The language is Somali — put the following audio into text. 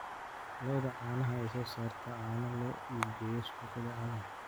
Lo'da caanaha ayaa soo saarta caano loo iibgeeyo suuqyada caalamka.